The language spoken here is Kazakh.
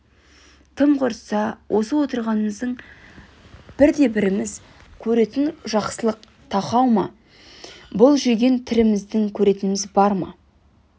тым құрса осы отырғанымыздың бірде-біріміз көретін жақсылық тақау ма өзін бұл жүрген тіріміздің көретініміз бар ма